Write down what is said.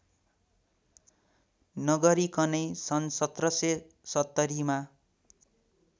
नगरिकनै सन् १७७० मा